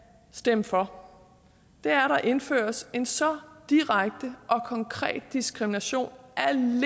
stemme for er at der indføres en så direkte og konkret diskrimination alene